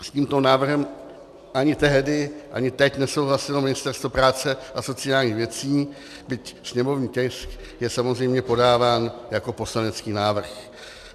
S tímto návrhem ani tehdy, ani teď nesouhlasilo Ministerstvo práce a sociálních věcí, byť sněmovní tisk je samozřejmě podáván jako poslanecký návrh.